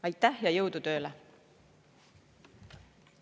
Aitäh ja jõudu tööle!